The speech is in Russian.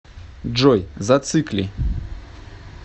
джой зацикли